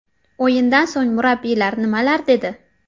O‘yindan so‘ng murabbiylar nimalar dedi?.